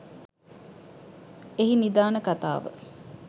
එහි නිධාන කතාව